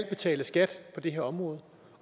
betalt skat på det her område